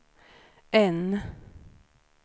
N